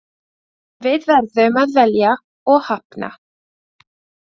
En við verðum að velja og hafna.